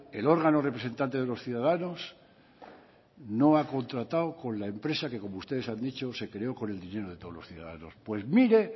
el órgano representante de los ciudadanos no ha contratado con la empresa que como ustedes han dicho se creó con el dinero de todos los ciudadanos pues mire